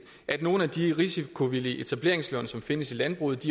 at nogle af de risikovillige etableringslån som findes i landbruget